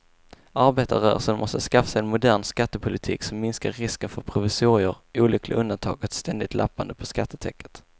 Arbetarrörelsen måste skaffa sig en modern skattepolitik som minskar risken för provisorier, olyckliga undantag och ett ständigt lappande på skattetäcket.